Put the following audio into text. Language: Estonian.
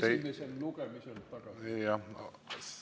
Esimesel lugemisel tagasilükkamise ettepaneku.